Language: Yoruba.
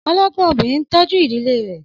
Ọlọ́gbọ́n obìnrin ń tọ́jú ìdílé rẹ̀.